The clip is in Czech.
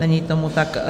Není tomu tak.